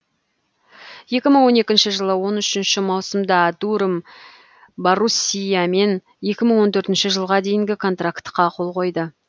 екі мың он екінші жылы он үшінші маусымда дуром баруссиямен екі мың он төртінші жылға дейін контрактіге қол қойды